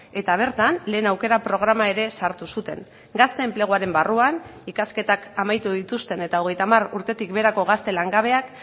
eta bertan lehen aukera programa ere sartu zuten gazte enpleguaren barruan ikasketak amaitu dituzten eta hogeita hamar urtetik beherako gazte langabeak